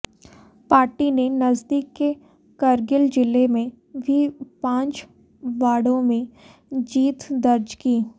party ने नजदीक के करगिल जिले में भी पांच वार्डों में जीत दर्ज की